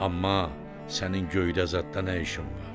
Amma sənin göydə zadla nə işin var?